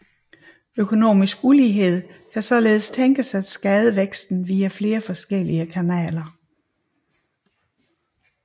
Økonomisk ulighed kan således tænkes at skade væksten via flere forskellige kanaler